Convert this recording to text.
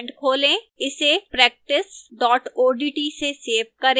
इसे practice odt से save करें